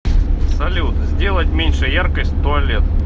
салют сделать меньше яркость туалет